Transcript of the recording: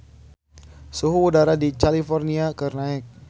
Suhu udara di California keur naek